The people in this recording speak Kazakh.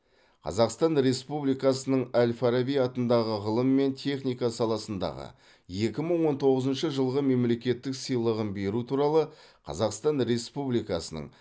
қазақстан республикасының әл фараби атындағы ғылым мен техника саласындағы екі мың он тоғызыншы жылғы мемлекеттік сыйлығын беру туралы қазақстан республикасының